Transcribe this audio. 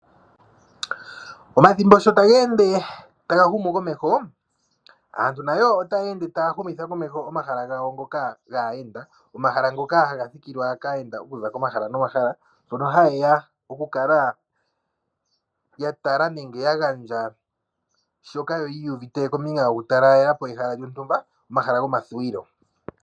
Omathimbo sho tage ende taga humu komeho aantu nayo otaye ende taya humitha komeho omahala gawo ngoka gayenda. Omahala haga thikilwa kayenda okuza komahala nomahala hono hayeya oku kala ya tala nenge ya gandja shoka yu uvute kombinga yuutalala omahala gomathuwilo.